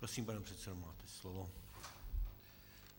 Prosím, pane předsedo, máte slovo.